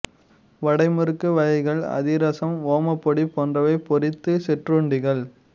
வடை முறுக்கு வகைகள் அதிரசம் ஓமப்பொடி போன்றவை பொரித்த சிற்றுண்டிகள்